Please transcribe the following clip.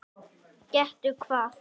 Gettu hvað?